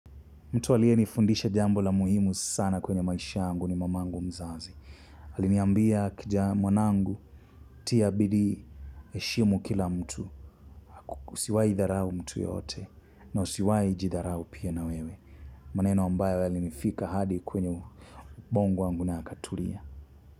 Mtu alienifundisha jambo la muhimu sana kwenye maisha yangu ni mamangu mzazi. Aliniambia kijana, mwanangu tia bidii heshimu kila mtu. Usiwahi dharau mtu yoyote na usiwahi jidharau pia na wewe. Maneno ambayo yalinifika hadi kwenye ubongo wangu na yakatulia.